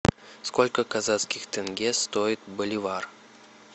сколько казахских тенге стоит боливар